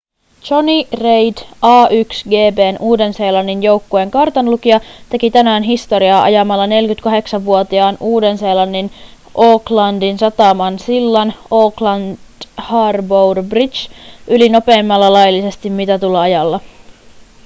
jonny reid a1gp:n uuden-seelannin joukkueen kartanlukija teki tänään historiaa ajamalla 48-vuotiaan uuden-seelannin aucklandin sataman sillan auckland harbour bridge yli nopeimmalla laillisesti mitatulla ajalla